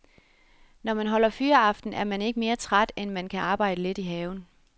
Når man holder fyraften er man ikke mere træt, end at man kan arbejde lidt i haven.